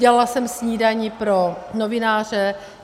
Dělala jsem snídani pro novináře.